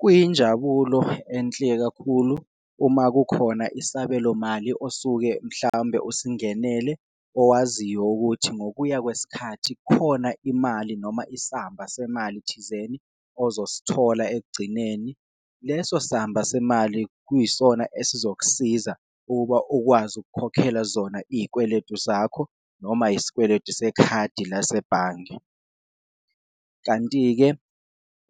Kuyinjabulo enhle kakhulu uma kukhona isabelomali osuke mhlawumbe usingenelele owaziyo ukuthi ngokuya kwesikhathi khona imali noma isamba semali thizeni ozosithola ekugcineni, leso samba semali kuyisona esizokusiza ukuba ukwazi ukukhokhela zona iyikweletu zakho noma isikweletu sekhadi lasebhange. Kanti-ke